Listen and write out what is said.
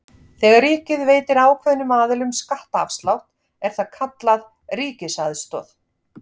Þegar ríkið veitir ákveðnum aðilum skattaafslátt er það kallað ríkisaðstoð.